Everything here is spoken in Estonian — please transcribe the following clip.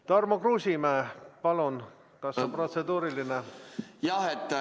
Tarmo Kruusimäe, palun, kas protseduuriline?